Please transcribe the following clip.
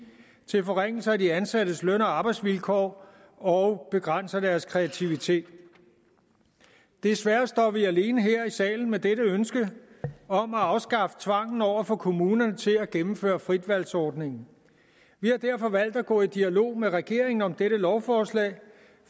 til forringelse af de ansattes løn og arbejdsvilkår og begrænser deres kreativitet desværre står vi alene her i salen med dette ønske om at afskaffe tvangen over for kommunerne til at gennemføre fritvalgsordningen vi har derfor valgt at gå i dialog med regeringen om dette lovforslag